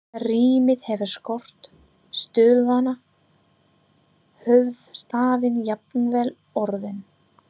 Rímið hefur skort, stuðlana, höfuðstafinn, jafnvel orðin.